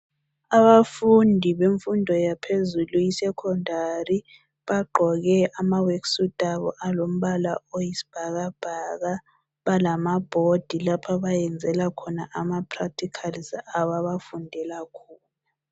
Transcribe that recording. Abafundi bemfundo yaphezulu esecondary bagqoke ama worksuit abo alombala oyisibhakabhaka lamabhodi lapha abayenzela khona ama practicals abo abfundela khona.